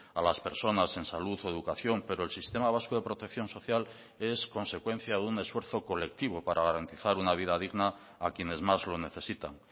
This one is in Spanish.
a las personas en salud o educación pero el sistema vasco de protección social es consecuencia de un esfuerzo colectivo para garantizar una vida digna a quienes más lo necesitan